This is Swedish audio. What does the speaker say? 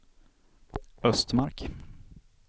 Östmark